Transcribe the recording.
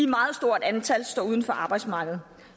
meget stort antal står uden for arbejdsmarkedet